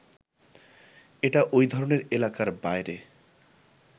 এটা ওই ধরনের এলাকার বাইরে